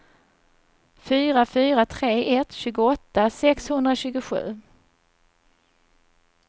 fyra fyra tre ett tjugoåtta sexhundratjugosju